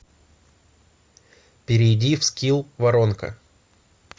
перейди в скилл воронка